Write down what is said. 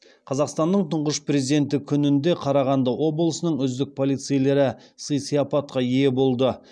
қазақстанның тұңғыш президенті күнінде қарағанды облысының үздік полицейлері сый сияпатқа ие болды